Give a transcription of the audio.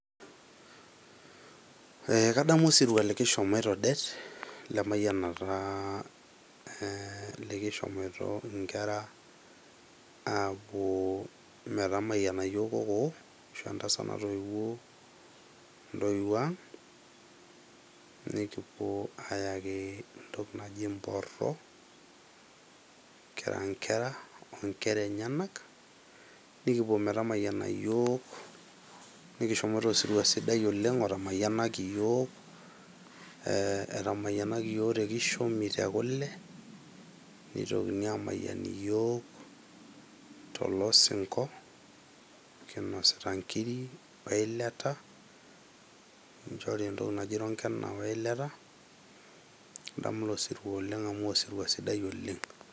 Ee kadamu osirua likishomoito det lemayianata ,kilishomoito ee inkera ,nikishomoita metamayiana yiook kokoo ashu entasat natoiwuo ang. Nikipuo ayakientoki naji imporo kira inkera ,nikipuo metamayiana iyiook nikishomoito osirua sidai oleng otamayianaki iyiook, ee etamayianaki yiook te kule , nitokini amayian iyiook tolosinko kinosita nkiri we ilata , nikichori ntokitin naji ironkena we ilata , adamu ilo sirua amu osirua sidai oleng.